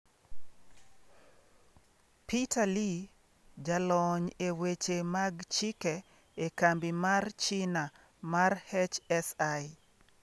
Peter Li, jalony e weche mag chike e kambi mar China mar HSI.